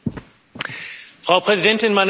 Frau Präsidentin, meine Damen und Herren!